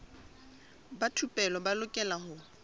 ba thupelo ba lokela ho